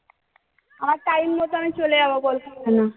আমার time মত আমি চলে যাব বললাম hello